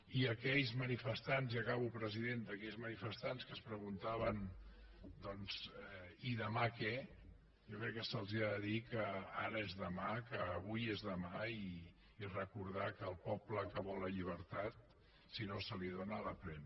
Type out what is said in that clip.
i a aquells manifestants i acabo presidenta que es preguntaven doncs i demà què jo crec que se’ls ha de dir que ara és demà que avui és demà i recordar que el poble que vol la llibertat si no se li dóna la pren